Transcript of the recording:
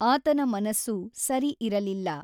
ಆತನ ಮನಸ್ಸು ಸರಿ ಇರಲಿಲ್ಲ.